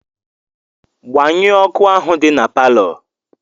Gbanyụọ ọkụ ahụ dị na palọ!